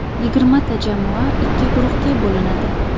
Yigirmata jamoa ikki guruhga bo‘linadi.